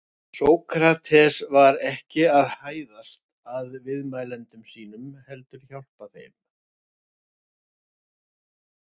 Sókrates var ekki að hæðast að viðmælendum sínum heldur hjálpa þeim.